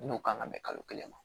N'o kan ka bɛn kalo kelen ma